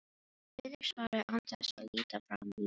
Friðrik svaraði án þess að líta framan í vin sinn.